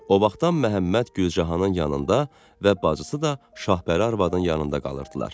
O vaxtdan Məhəmməd Gülcahanın yanında və bacısı da Şahbəri arvadın yanında qalırdılar.